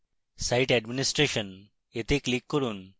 site administration এ click করুন